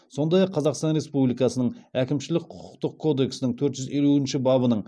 сондай ақ қазақстан республикасының әкімшілік құқықтық кодексінің төрт жүз елуінші бабының